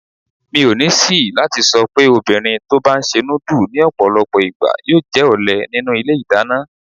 Mi ò ní ṣìí láti sọ'pé obìnrin tó' bá ńṣe núdù ní ọ̀pọ̀lọpọ̀ ìgbà yóò jẹ́ ọ̀lé nínú ilé ìdáná.